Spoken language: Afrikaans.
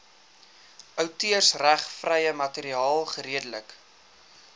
outeursregvrye materiaal geredelik